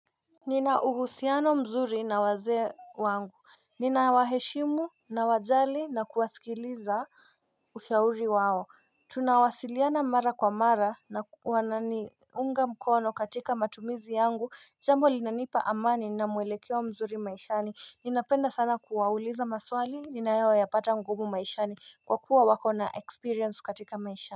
Nina uhusiano mzuri na wazee wangu Nina waheshimu na wajali na kuwasikiliza ushauri wao Tunawasiliana mara kwa mara na wananiunga mkono katika matumizi yangu jambo linanipa amani na mwelekeo wa mzuri maishani Ninapenda sana kuwauliza maswali ninayo ya pata ngumu maishani kwa kuwa wako na experience katika maishani.